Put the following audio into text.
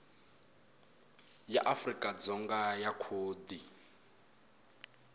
ya afrika dzonga ya khodi